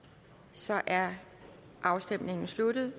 så er afstemningen sluttet